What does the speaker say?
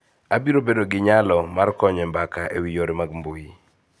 Abiro bedo gi nyalo mar konyo e mbaka e wi yore mag mbui